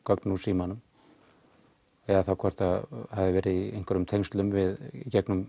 gögn úr símanum eða þá hvort það hafi verið í einhverjum tengslum í gegnum